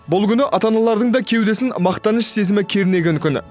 бұл күні ата аналардың да кеудесін мақтаныш сезімі кернеген күні